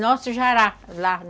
Nosso jará, lá.